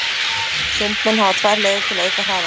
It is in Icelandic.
Sundmenn hafa tvær leiðir til að auka hraðann.